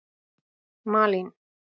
Malín